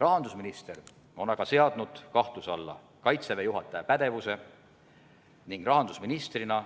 Rahandusminister on aga seadnud kahtluse alla Kaitseväe juhataja pädevuse ning rahandusministrina